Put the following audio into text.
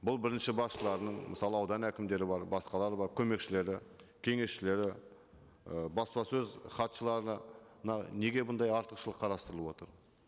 бұл бірінші басшыларының мысалы аудан әкімдері бар басқалары бар көмекшілері кеңесшілері і баспасөз хатшыларына неге бұндай артықшылық қарастырылып отыр